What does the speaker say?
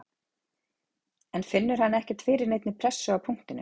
En finnur hann ekkert fyrir neinni pressu á punktinum?